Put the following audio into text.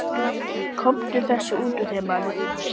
Komdu þessu út úr þér, maður!